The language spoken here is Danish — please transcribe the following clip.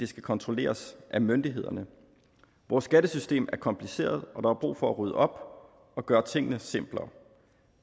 skal kontrolleres af myndighederne vores skattesystem er kompliceret og der er brug for at rydde op og gøre tingene simplere